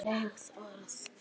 Fleyg orð.